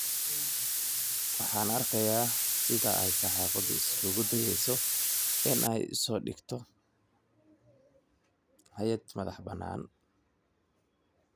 Waxaan arkayaa sida ay saxaafaddu isku dayayso in ay isu dhigto hay'ad madax-bannaan."